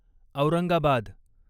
Aurangabad